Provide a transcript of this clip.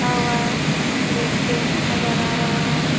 --खा हुआ एक गेठ नजर आ रहा।